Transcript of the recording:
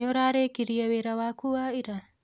Nĩũrarĩkirie wĩra waku wa ira?